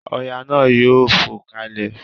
ọya na yóò fo kalè.